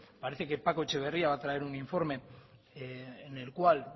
parece que paco etxeberria va a traer un informe en el cual